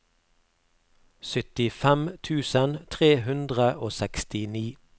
syttifem tusen tre hundre og sekstini